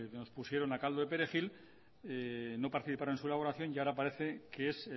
nos pusieron a caldo de perejil no participaron en su elaboración y ahora parece que es